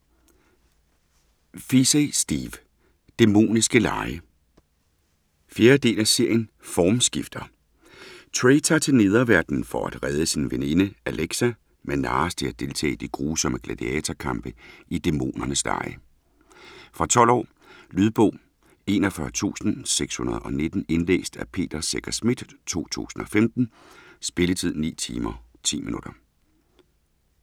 Feasey, Steve: Dæmoniske Lege 4. del af serien Formskifter. Trey tager til Nederverdenen for at redde sin veninde Alexa, men narres til at deltage i de grusomme gladiatorkampe i Dæmonernes Lege. Fra 12 år. Lydbog 41619 Indlæst af Peter Secher Schmidt, 2015. Spilletid: 9 timer, 10 minutter.